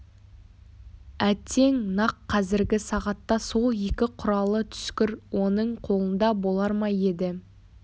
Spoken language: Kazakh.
әттең нақ қазіргі сағатта сол екі құралы түскір оның қолында болар ма еді